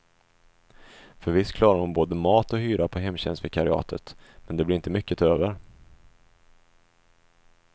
För visst klarar hon både mat och hyra på hemtjänstvikariatet, men det blir inte mycket över.